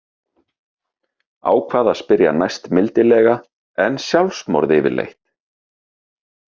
Ákvað að spyrja næst mildilega: En sjálfsmorð yfirleitt?